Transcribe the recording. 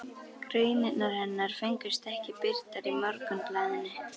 Greinarnar hennar fengust ekki birtar í Morgunblaðinu.